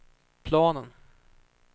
planen